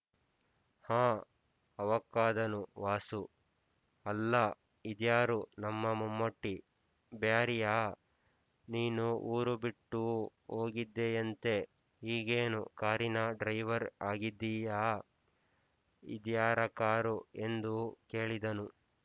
ಹಾಂ ಅವಾಕ್ಕಾದನು ವಾಸು ಅಲ್ಲಾ ಇದ್ಯಾರು ನಮ್ಮ ಮಮ್ಮೂಟಿ ಬ್ಯಾರಿಯಾ ನೀನು ಊರು ಬಿಟ್ಟು ಹೋಗಿದ್ದೆಯಂತೆ ಈಗೇನು ಕಾರಿನ ಡ್ರೈವರ್ ಆಗಿದ್ದೀಯಾ ಇದ್ಯಾರ ಕಾರು ಎಂದು ಕೇಳಿದನು